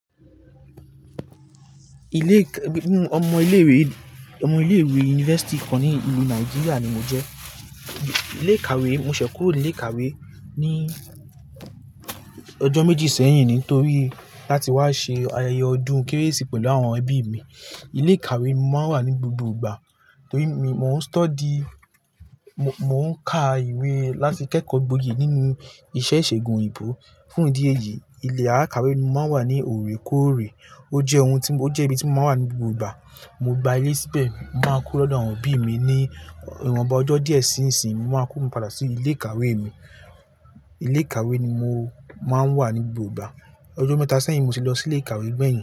Ilé, ọmọ ilé ìwé, ọmọ ilé ìwé yunifásítì kan ní ìlú Nàìjíríà ni mo jẹ́. Ilé ìkàwé, mo ṣẹ̀ kúró ilé ìkàwé ní ọjọ́ méjì sẹ́yìn nítorí láti wá ṣe ayẹyẹ ọdún Kérésì pẹ̀lú àwọn ẹbí mi. Ilé ìkàwé máa wà ní gbogbo ìgbà torí mi mò ń study, mò ń ka ìwé láti kẹ́kọ̀ọ́ gboyè nínú iṣẹ́ ìṣègùn òyìnbó. Fún ìdí èyí ilé al. Ìkàwé ni mò ń wà ní òrèkóòrè. Ó jẹ́ ohun tí, ó jẹ́ ibi tí mò máa ń wà ní gbogbo ìgbà. Mo gba ilé síbẹ̀, mo máa kuro lọ́dọ̀ àwọn obí mi ní ìwọnba ọjọ́ díẹ̀ sí ìsìn, mo máa kó mi padà sí ilé ìkàwé mi. Ilé ìkàwé ni mo máa ń wà ní gbogbo ìgbà. Ọjọ́ mẹ́ta sẹ́yìn mo sì lọ sí ilé ìkàwé gbẹ̀yìn.